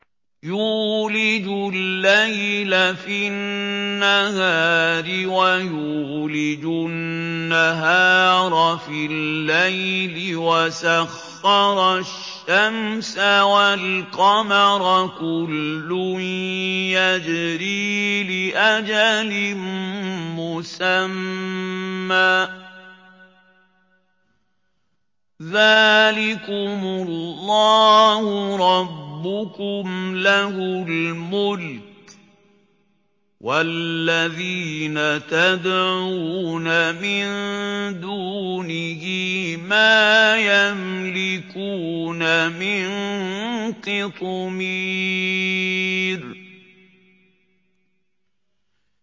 يُولِجُ اللَّيْلَ فِي النَّهَارِ وَيُولِجُ النَّهَارَ فِي اللَّيْلِ وَسَخَّرَ الشَّمْسَ وَالْقَمَرَ كُلٌّ يَجْرِي لِأَجَلٍ مُّسَمًّى ۚ ذَٰلِكُمُ اللَّهُ رَبُّكُمْ لَهُ الْمُلْكُ ۚ وَالَّذِينَ تَدْعُونَ مِن دُونِهِ مَا يَمْلِكُونَ مِن قِطْمِيرٍ